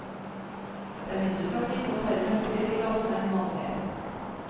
Det er mindre trafikk og færre mennesker i gatene enn vanlig.